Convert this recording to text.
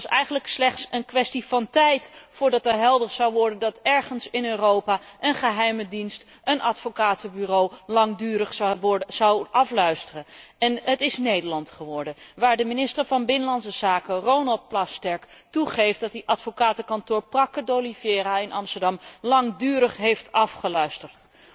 Het was eigenlijk slechts een kwestie van tijd voordat het duidelijk zou worden dat ergens in Europa een geheime dienst een advocatenbureau langdurig afluistert. En het is Nederland geworden, waar de minister van Binnenlandse Zaken, Ronald Plasterk, toegeeft dat hij advocatenkantoor Prakken d'Oliveira in Amsterdam langdurig heeft afgeluisterd.